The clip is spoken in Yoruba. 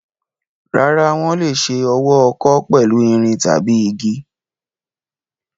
Rárá, wọ́n lè ṣe ọwọ́ ọkọ́ pẹ̀lú irin tàbí igi.